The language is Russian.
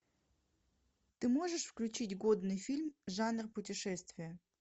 ты можешь включить годный фильм жанр путешествия